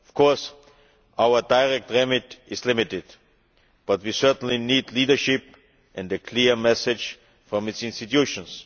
Of course, our direct remit is limited, but we certainly need leadership and a clear message from its institutions.